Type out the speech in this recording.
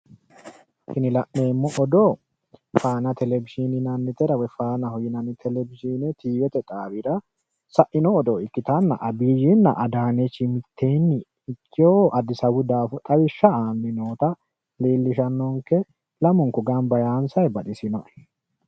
tini la'neemmo odoo faana televizhiini yinannitera woyi faanaho yinannitera tiivete xaawira saino saino odoo ikkitanna abiyyinna adaanechi mitteenni ikewo addisawu daafo xawishsha aanni noota leellishshanonke lamunku gamba yaansanni baxisinoe.